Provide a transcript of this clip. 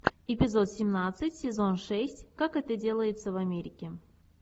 эпизод семнадцать сезон шесть как это делается в америке